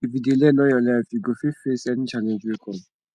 if you dey learn all your life you go fit face any challenge wey come